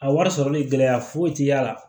A wari sɔrɔli gɛlɛya foyi ti y'a la